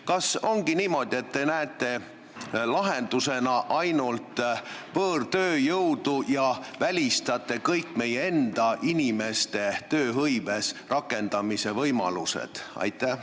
Kas ongi niimoodi, et te näete lahendusena ainult võõrtööjõudu ja välistate kõik meie enda inimeste tööhõives rakendamise võimalused?